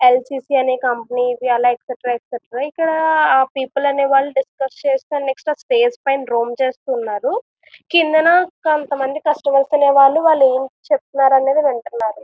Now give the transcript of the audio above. L C C అనే company ఇది. అలాగే ఎక్సట్రా ఎక్సట్రా . ఇక్కడ ఆ పీపుల్ అనే వాళ్ళు డిస్కస్ చేస్తూ అలాగే స్పేస్ మీద డ్రోన్ చేస్తూ ఉన్నారు. కిందన కొంతమంది కస్టమర్లు అనేవాళ్ళు వాళ్ళు ఏం చెబుతున్నారో అనేది వింటున్నారు.